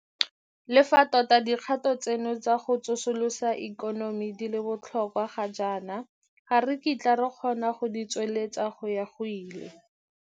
Le fa tota dikgato tseno tsa go tsosolosa ikonomi di le botlhokwa ga jaana, ga re kitla re kgona go di tsweledisa go ya go ile.